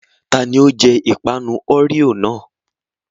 Tani ó jẹ ìpanu Oreo náà?